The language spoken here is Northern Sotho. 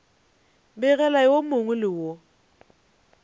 begela yo mongwe le yo